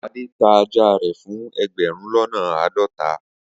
Ade ta aja re fun egberun lona aadota